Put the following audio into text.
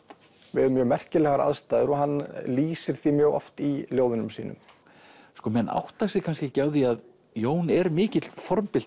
við mjög merkilegar aðstæður og hann lýsir því mjög oft í ljóðunum sínum sko menn átta sig kannski ekki á því að Jón er mikill